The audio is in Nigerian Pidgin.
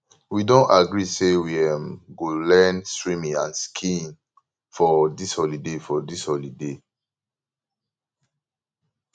we don agree say we um go learn swimming and skiing for dis holiday for dis holiday